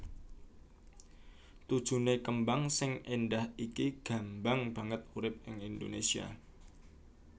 Tujuné kembang sing éndah iki gambang banget urip ing Indonésia